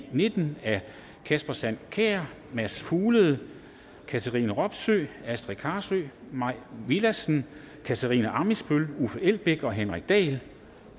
v nitten af kasper sand kjær mads fuglede katrine robsøe astrid carøe mai villadsen katarina ammitzbøll uffe elbæk og henrik dahl